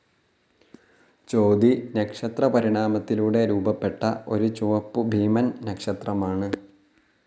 ചോതി നക്ഷത്രപരിണാമത്തിലൂടെ രൂപപ്പെട്ട ഒരു ചുവപ്പുഭീമൻ നക്ഷത്രമാണ്.